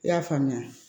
I y'a faamuya